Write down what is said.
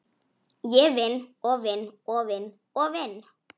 Ég vinn og vinn og vinn og vinn.